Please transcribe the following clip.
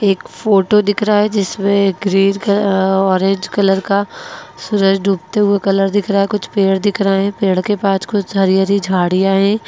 एक फोटो दिख रहा है जिसमें ग्रीन का अ ऑरेंज कलर का सूरज डूबते हुए कलर दिख रहा है कुछ पेड़ दिख रहे हैं पेड़ के पास कुछ हरी-हरी झाड़ियां है।